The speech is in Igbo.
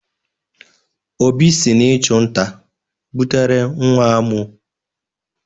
Obi si n'ịchu nta butere nwa amụ.